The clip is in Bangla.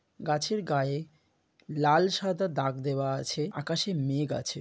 গাছের গায়ে লাল সাদা দাগ দেওয়া আছে আকাশে মেঘ আছে।